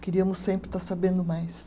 Queríamos sempre estar sabendo mais.